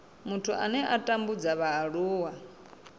muthu ane a tambudza vhaaluwa